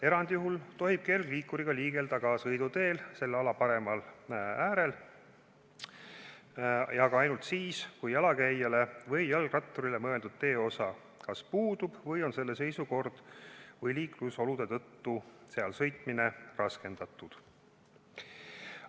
Erandjuhul tohib kergliikuriga liigelda ka sõiduteel, selle ala paremal äärel ja ka ainult siis, kui jalakäijale või jalgratturile mõeldud teeosa kas puudub või on selle seisukorra või liiklusolude tõttu seal sõitmine raskendatud.